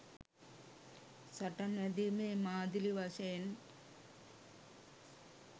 සටන් වැදීමේ මාදිලි වශයෙන්